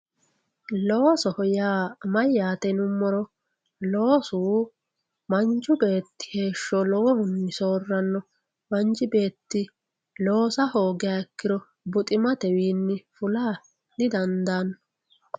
Loosoho yaa mayatr yinumoto loosu manchu beetti heesho lowohunni sooranno manchi bretti loosa hoogiha ikkiro buxximmatewinni fulla didandanno